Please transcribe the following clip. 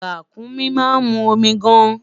Ràkúnmí ma mu omi gaan